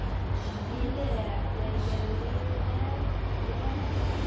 Yður ætti að geta liðið vel þar.